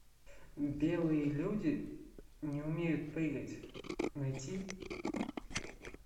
белые люди не умеют прыгать найти